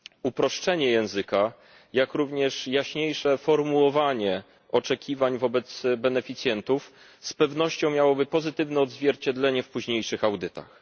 Uproszczenie języka, jak również jaśniejsze formułowanie oczekiwań wobec beneficjentów z pewnością miałoby pozytywne odzwierciedlenie w późniejszych audytach.